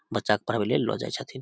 बच्चा के पढ़वे ले लो जाय छथीन।